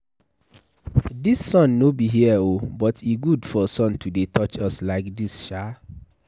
Dis sun no be here oo. But e good for sun to dey touch us like dis Sha.